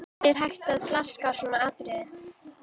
Hvernig er hægt að flaska á svona atriði?